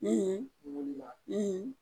I wulila i